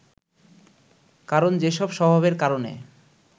কারণ যেসব স্বভাবের কারণে